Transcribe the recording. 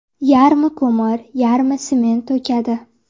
Yarmi ko‘mir, yarmi sement to‘kadi”.